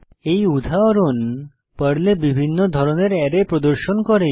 এই উদাহরণ পর্লে বিভিন্ন ধরনের অ্যারে প্রদর্শন করে